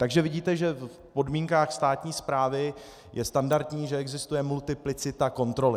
Takže vidíte, že v podmínkách státní správy je standardní, že existuje multiplicita kontroly.